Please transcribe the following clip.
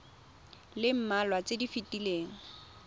le mmalwa tse di fetileng